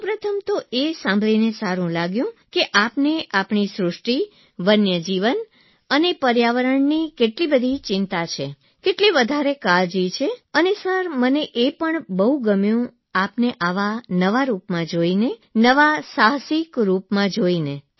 સૌ પ્રથમ તો એ સાંભળીને સારૂં લાગ્યું કે આપને આપણી સૃષ્ટિ વન્યજીવન અને પર્યાવરણની કેટલી બધી ચિંતા છે કેટલી વધારે કાળજી છે અને સર મને એ પણ બહુ ગમ્યુ આપને આ નવા રૂપમાં નવા સાહસિક રૂપમાં જોઇને